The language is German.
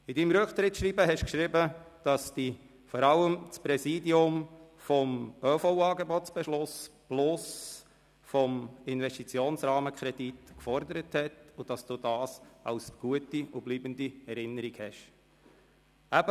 In Ihrem Rücktrittsschreiben haben Sie geschrieben, dass Sie vor allem das Präsidium des ÖV-Angebots-Beschlusses sowie des ÖV-Investitionsrahmenkredits gefordert haben und dass Sie dies als gute, bleibende Erinnerung haben.